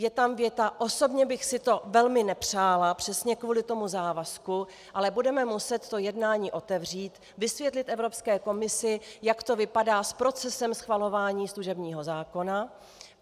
Je tam věta: "Osobně bych si to velmi nepřála, přesně kvůli tomu závazku, ale budeme muset to jednání otevřít, vysvětlit Evropské komisi, jak to vypadá s procesem schvalování služebního zákona.